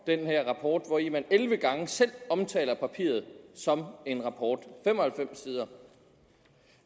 den her rapport hvori man elleve gange selv omtaler papiret som en rapport fem og halvfems sider